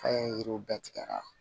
An ye yiriw bɛɛ tigɛ ka